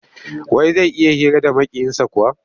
Wai zai iya hira da Maƙiyinsa kuwa?